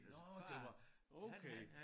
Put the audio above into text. Nåh det var okay